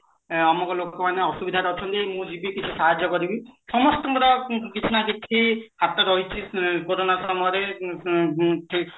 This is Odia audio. ମ ଅମକ ଲୋକ ମାନେ ଅସୁବିଧାରେ ଅଛନ୍ତି ମୁଁ ଜୀବି କିଛି ସାହାଯ୍ୟ କରିବି ସମସ୍ତଙ୍କର କିଛି ନା କିଛି ହାତ ରହିଛି କୋରୋନା ସମୟରେ ମ